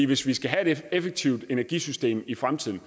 hvis vi skal have et effektivt energisystem i fremtiden